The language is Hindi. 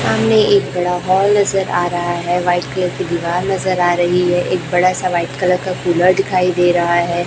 सामने एक बड़ा हॉल नजर आ रहा है व्हाइट कलर की दीवार नजर आ रही है एक बड़ा सा व्हाइट कलर का कुलर दिखाई दे रहा है।